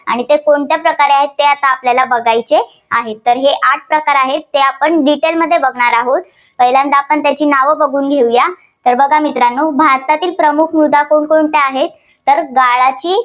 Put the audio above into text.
ते कोणत्या प्रकार आहेत ते आपल्याला बघायचे आहेत. तर हे आठ प्रकार आहेत, ते आपण detail मध्ये बघणार आहोत. पहिल्यांदा आपण त्याची नाव बघून घेऊया. तर बघा मित्रांनो भारतातील प्रमुख मृदा कोणकोणत्या आहेत? तर गाळाची